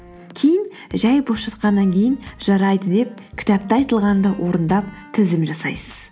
кейін жай бос жатқаннан кейін жарайды деп кітапта айтылғанды орындап тізім жасайсыз